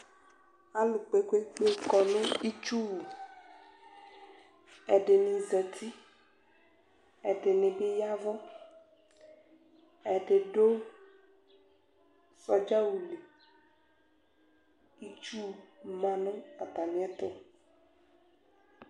Alʋ kpe kpe kpe kɔnʋ itsuwʋ ɛdini zati ɛdini bi ya ɛvʋ ɛdidu sɔdza awʋli itsʋ manʋ atami ɛtʋ